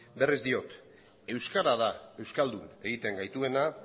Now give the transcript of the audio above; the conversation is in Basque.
berriz diot euskara da euskaldun egiten gaituena